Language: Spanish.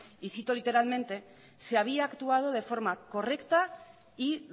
y cito literalmente se había actuado de forma correcta y